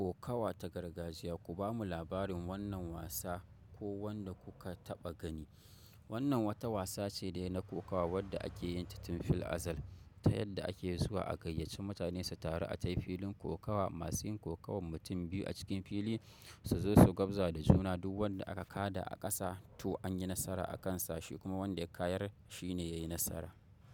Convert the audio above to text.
Kokawa ta gargajiya. Ku bamu labarin wannan wasa ko wanda kuka taɓa gani. Wannan wata wasa ce dai na kokawa wadda ake yin ta tun fil azar ta yadda ake zuwa a gayyaci mutane su taru, a tai filin kokawa. Masu yin kokawan mutum biyu a cikin fili su zo su gabza da juna. Duk wanda aka kada a ƙasa to an yi nasara a kan sa shi, kuma wanda ya kayar shi ne ya yi nasara.